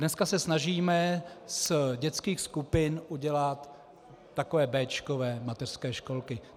Dnes se snažíme z dětských skupin udělat takové béčkové mateřské školky.